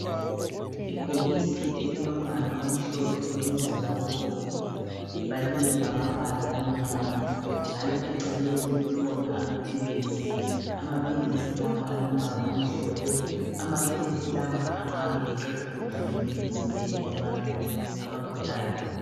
Ibhokisi elilombala omhlophe lomzila obomvu, libhaliwe ngamabala amnyama, njalo eceleni kukhona amaphilisi. Amaphilisi lawa alombala omhlophe. Amaphilisi lawa angabe eqeda ubuhlungu emzimbeni yabantu abagulayo.